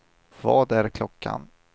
Vad är klockan